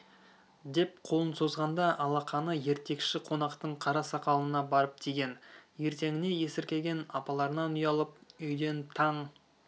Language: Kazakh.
деп қолын созғанда алақаны ертекші қонақтың қара сақалына барып тиген ертеңіне есіркеген апаларынан ұялып үйден таң